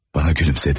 Bana gülümsedi.